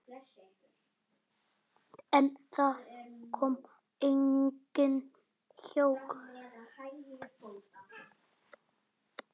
En það kom engin hjálp.